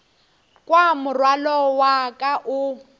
kwa morwalo wa ka o